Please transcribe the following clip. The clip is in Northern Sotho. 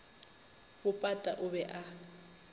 bo pata o be a